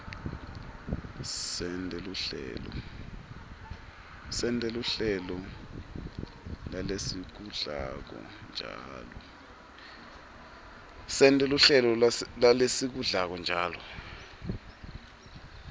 sente luhlelo lalesikudlako njalo